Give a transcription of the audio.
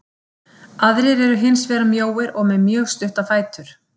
Aðrir eru hins vegar mjóir og með mjög stutta fætur.